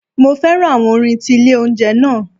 Mo fẹ́ràn àwọn orin tí ilé oúnjẹ náà.